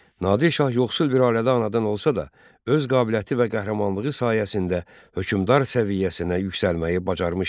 Nadir şah yoxsul bir ailədə anadan olsa da, öz qabiliyyəti və qəhrəmanlığı sayəsində hökmdar səviyyəsinə yüksəlməyi bacarmışdı.